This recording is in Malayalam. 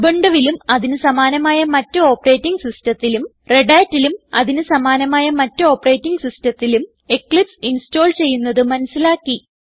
ഉബുണ്ടുവിലും അതിന് സമാനമായ മറ്റ് ഓപ്പറേറ്റിംഗ് സിസ്റ്റത്തിലും Redhatലും അതിന് സമാനമായ മറ്റ് ഓപ്പറേറ്റിംഗ് സിസ്റ്റത്തിലും എക്ലിപ്സ് ഇൻസ്റ്റോൾ ചെയ്യുന്നത് മനസിലാക്കി